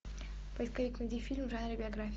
поисковик найди фильм в жанре биография